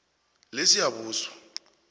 lesiyabuswa